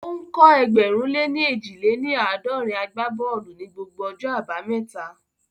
Ó ń kọ́ ẹgbẹ̀rún lè ní éjì lé ní àádọ́rin àgbá bọ́ọ̀lù ní gbogbo ọjọ́ abámẹ́ta